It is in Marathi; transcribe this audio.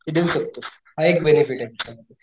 ते देऊ शकतोस हा एक बेनेफिटे त्याच्यामध्ये,